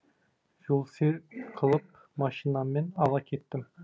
жолсерік қылып машинаммен ала кеттім